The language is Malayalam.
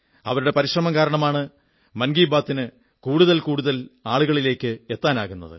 അവരുടെ പരിശ്രമം കാരണമാണ് മൻ കീ ബാത്തിന് കൂടുതൽ കൂടുതൽ ആളുകളിൽ എത്താനാകുന്നത്